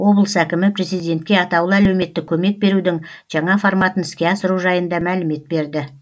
облыс әкімі президентке атаулы әлеуметтік көмек берудің жаңа форматын іске асыру жайында мәлімет берді